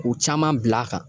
K'u caman bila kan